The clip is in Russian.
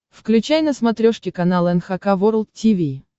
включай на смотрешке канал эн эйч кей волд ти ви